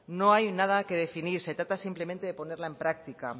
no hay nada que definir se trata simplemente de ponerla en práctica